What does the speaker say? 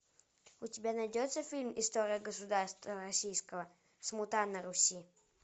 у тебя найдется фильм история государства российского смута на руси